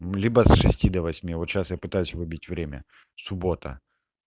либо с шести до восьми ноль коль сейчас я пытаюсь выбить время суббота